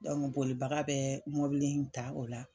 bolibaga bɛɛ mobili in ta o la